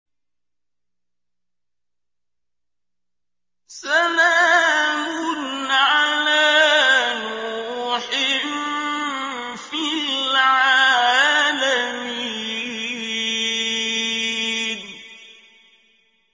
سَلَامٌ عَلَىٰ نُوحٍ فِي الْعَالَمِينَ